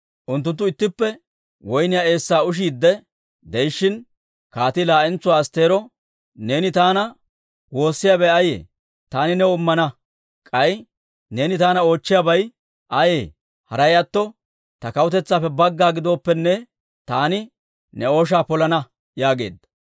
Unttunttu ittippe woyniyaa eessaa ushiidde de'ishshin, kaatii laa'entsuwaa Astteero, «Neeni taana woossiyaabay ayee? Taani new immana. K'ay neeni taana oochchiyaabay ayee? Haray atto ta kawutetsaappe bagga gidooppenne, taani ne ooshaa polana» yaageedda.